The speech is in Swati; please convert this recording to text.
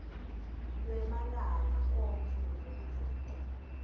lwemalanga onkhe nekuveta